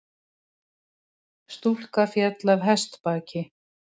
Stúlka féll af hestbaki